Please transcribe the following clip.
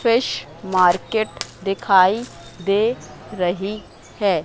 Fish market दिखाई दे रहीं हैं।